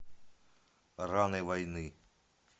раны войны